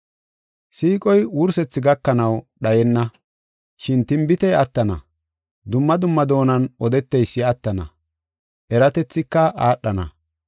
Siiqoy wursethi gakanaw dhayenna. Shin tinbitey attana; dumma dumma doonan odeteysi attana; eratethika aadhana.